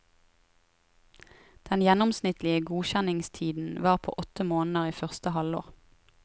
Den gjennomsnittlige godkjenningstiden var på åtte måneder i første halvår.